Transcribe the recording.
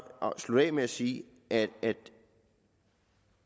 slutte af med at sige at